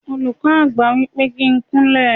Olùkọ́ Àgbà wípé kí n kún lẹ̀.